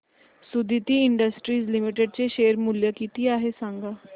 Suditi Industries Limited चे share मूल्य किती आहे सांगा